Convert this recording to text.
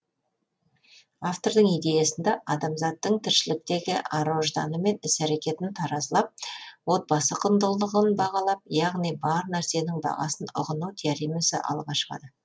автордың идеясында адамзаттың тіршіліктегі ар ожданы мен іс әрекетін таразылап отбасы құндылығын бағалап яғни бар нәрсенің бағасын ұғыну теоремасы алға шығады